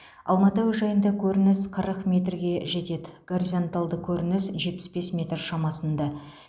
алматы әуежайында көрініс қырық метрге жетеді горизонталды көрніс жетпіс бес метр шамасында